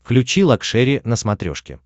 включи лакшери на смотрешке